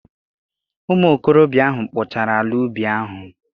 Ụmụ okorobịa ahụ kpochara ala ubi ahụ.